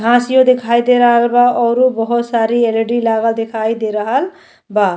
घासियो देखाई दे रहल बा औरु बोहोत सारी एल.इ.डी. लागल देखाई दे रहल बा।